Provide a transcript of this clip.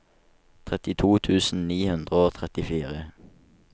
trettito tusen ni hundre og trettifire